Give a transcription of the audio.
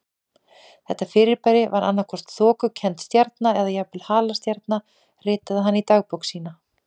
Þetta fyrirbæri var annað hvort þokukennd stjarna eða jafnvel halastjarna ritaði hann í dagbók sína.